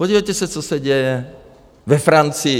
Podívejte se, co se děje ve Francii.